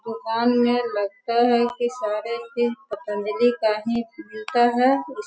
दुकान में लगता है की सारे चीज पतंजली का ही मिलता है उस --